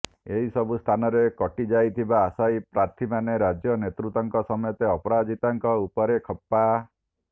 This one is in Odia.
ଏହି ସବୁ ସ୍ଥାନରେ କଟିଯାଇଥିବା ଅଶାୟୀ ପାର୍ଥିମାନେ ରାଜ୍ୟ ନେତୃତ୍ୱଙ୍କ ସମେତ ଅପରାଜିତାଙ୍କ ଉପରେ ଖପ୍ପା